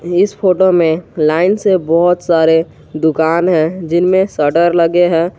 इस फोटो में लाइन से बहुत सारे दुकान है जिनमें शटर लगे हैं।